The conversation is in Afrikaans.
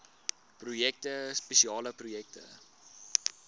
projekte spesiale projekte